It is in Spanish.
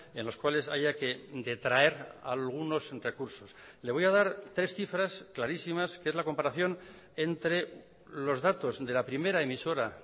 en los cuales haya que detraer algunos recursos le voy a dar tres cifras clarísimas que es la comparación entre los datos de la primera emisora